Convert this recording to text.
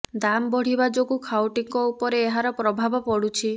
ଦାମ୍ ବଢ଼ିବା ଯୋଗୁ ଖାଉଟିଙ୍କ ଉପରେ ଏହାର ପ୍ରଭାବ ପଡୁଛି